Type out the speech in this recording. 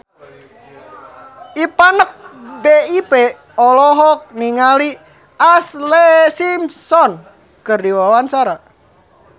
Ipank BIP olohok ningali Ashlee Simpson keur diwawancara